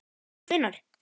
Haukur: Hvenær?